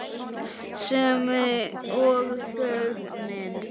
Sem og þögnin.